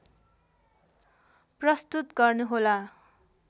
प्रस्तुत गर्नुहोला